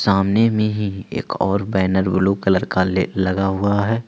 सामने में ही एक और बैनर ब्लू कलर का ले लगा हुआ है।